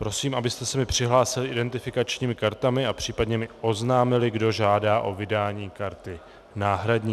Prosím, abyste se mi přihlásili identifikačními kartami a případně mi oznámili, kdo žádá o vydání karty náhradní.